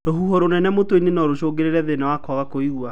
Rũhuho rũnene mũtwe-inĩ no rũcũngĩrĩrie thĩna wa kwaga kũigua